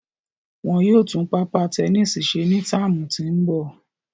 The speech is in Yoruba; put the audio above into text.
Wọn yóò tun papa tẹnisi ṣe ni tạamu ti n bọ